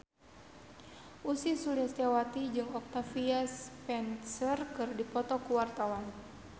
Ussy Sulistyawati jeung Octavia Spencer keur dipoto ku wartawan